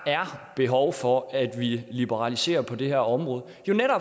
behov for at liberalisere på det her område